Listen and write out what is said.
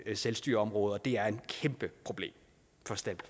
et selvstyreområde og det er et kæmpeproblem